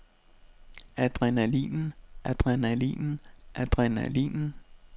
adrenalinen adrenalinen adrenalinen